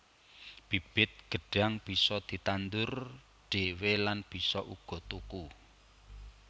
Bibit gêdhang bisa ditandur dhewé lan bisa uga tuku